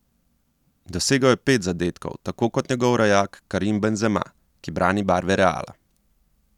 Dosegel je pet zadetkov, tako kot njegov rojak Karim Benzema, ki brani barve Reala.